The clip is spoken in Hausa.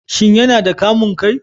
Shin yana da kamun kai?